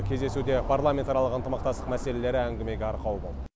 кездесуде парламентаралық ынтымақтастық мәселелері әңгімеге арқау болды